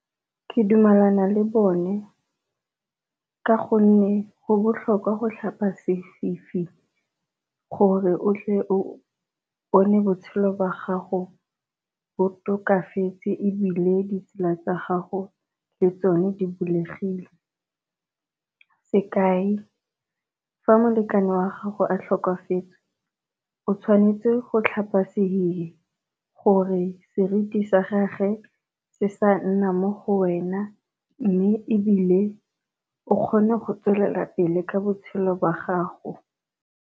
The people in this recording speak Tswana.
Ke dumelana le bone ka gonne go botlhokwa go tlhapa sefifi, gore o tle o bone botshelo jwa gago bo tokafetse ebile ditsela tsa gago le tsone di bulegile. Sekai fa molekane wa gago a tlhokafetse o tshwanetse go tlhapa sehihi gore seriti sa gage se sa nna mo go wena, mme ebile o kgone go tswelela pele ka botshelo jwa gago.